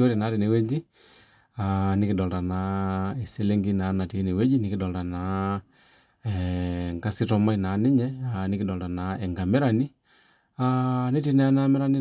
Ore naa tenewueji nikidolita eselenkei natii enewueji nikidolita enkasitomai naa ninye nikidolita enkamirani netii naa ena amirani